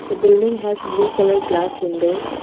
the building has blue colour glass windows.